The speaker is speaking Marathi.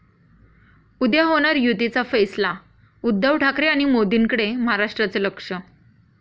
उद्या होणार युतीचा फैसला? उद्धव ठाकरे आणि मोदींकडे महाराष्ट्राचं लक्ष!